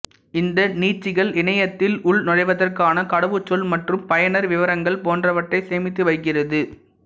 இந்த நீட்சிகள் இணையத்தில் உள் நுழைவதற்கான கடவுச்சொல் மற்றும் பயனர் விவரங்கள் போன்றவற்றை சேமித்து வைக்கிறது